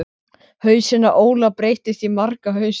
Hausinn á Óla breytist í marga hausa.